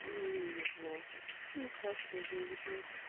мне не везло и сейчас тоже не везёт